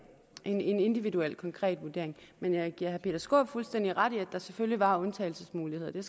en individuel konkret vurdering men jeg giver herre peter skaarup fuldstændig ret i at der selvfølgelig var undtagelsesmuligheder og det